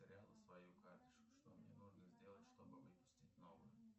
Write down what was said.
потеряла свою карточку что мне нужно сделать чтобы выпустить новую